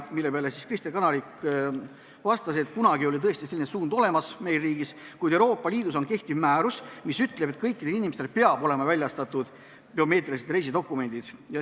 Selle peale Kristen Kanarik vastas, et kunagi oli tõesti meie riigis selline suund, kuid Euroopa Liidu kehtiv määrus ütleb, et kõikidele inimestele peavad olema väljastatud biomeetrilised reisidokumendid.